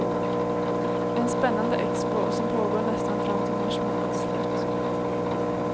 En spännande expo, som pågår nästan fram till mars månads slut.